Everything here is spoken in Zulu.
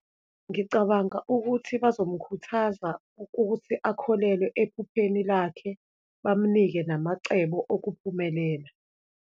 Ngicabanga ukuthi bazomkhuthaza ukuthi akholelwe ephupheni lakhe, bamnike namacebo okuphumelela.